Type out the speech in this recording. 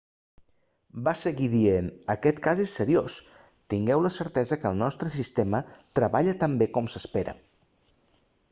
va seguir dient aquest cas és seriós tingueu la certesa que el nostre sistema treballa tan bé com s'espera